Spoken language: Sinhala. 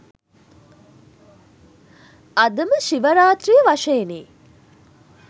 අදම ශිව රාත්‍රිය වශයෙනි